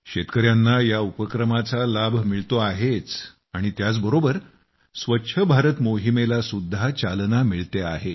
शेतकऱ्यांना या उपक्रमाचा लाभ मिळतो आहेच आणि त्याच बरोबर स्वच्छ भारत मोहिमेला सुद्धा चालना मिळते आहे